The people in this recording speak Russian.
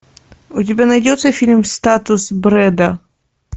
у тебя найдется фильм статус брэда